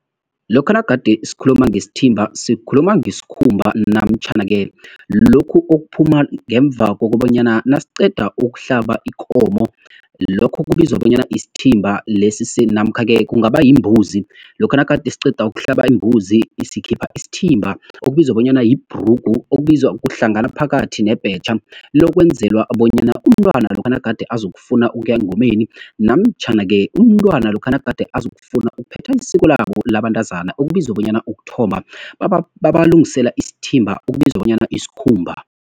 Lokha nagade sikhuluma ngesthimba, sikhuluma ngeskhumba namtjhana-ke lokhu okuphuma ngemva kokobanyana, nasiqeda ukuhlaba ikomo, lokho kubizwa bonyana yisthimba, namkha-ke kungaba yimbuzi. Lokha nagade siqeda ukuhlaba imbuzi sikhipha isthimba, okubizwa bonyana yibhrugu, okubizwa kuhlangana phakathi nebhetjha. Lokwenzela bonyana umntwana lokha nagade azokufuna ukuya engomeni, namtjhana-ke umntwana lokha nagade azokufuna ukuphetha isiko labo labantazana, okubizwa bonyana ukuthomba, babalungisela isthimba, okubizwa bonyana iskhumba.